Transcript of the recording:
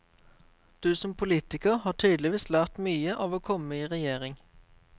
Du som politiker har tydeligvis lært mye av å komme i regjering?